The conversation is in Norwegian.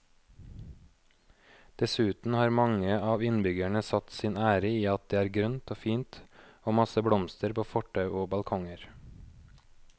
Dessuten har mange av innbyggerne satt sin ære i at det er grønt og fint og masse blomster på fortau og balkonger.